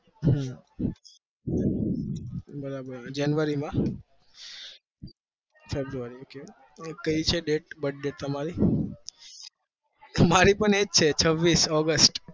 હમ બરાબર january માં કઈ છે date કઈ છે date birth date તમારી? મારી પણ એ જ છે છવીસ august